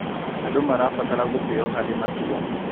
Andũ marabatara gũtĩo harĩ matua.